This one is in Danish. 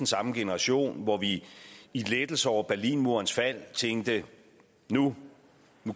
samme generation hvor vi i lettelse over berlinmurens fald tænkte at nu